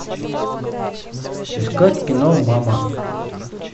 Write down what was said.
искать кино мама